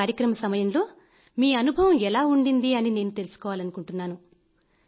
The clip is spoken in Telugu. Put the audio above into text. ఈ కార్యక్రమ సమయంలో మీ అనుభవం ఎలా ఉండింది అని నేను తెలుసుకోవాలనుకుంటున్నాను